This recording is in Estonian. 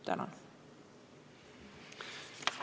" Tänan!